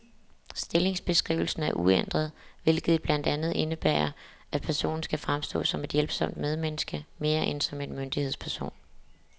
Stllingsbeskrivelsen er uændret, hvilket blandt andet indebærer, at personen skal fremstå som et hjælpsomt medmenneske, mere end som en myndighedsperson.